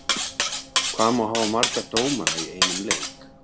Hvað má hafa marga dómara í einum leik?